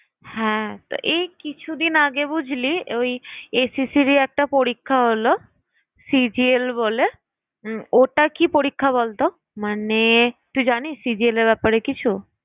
হ্যাঁ তো এই কিছুদিন আগে বুঝলি ওই SSC রই একটা পরীক্ষা হল CGL বলে ওটা কি পরীক্ষা বলতো, মানে তুই জানিস CGL এর ব্যাপারে কিছু?